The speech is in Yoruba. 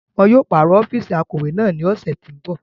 Wọn yóò paro ọfiisi akọwe naa ni ọsẹ ti n bọ.